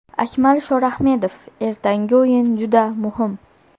Akmal Shorahmedov: Ertangi o‘yin juda muhim.